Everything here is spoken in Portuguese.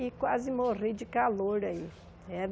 E quase morri de calor aí. Era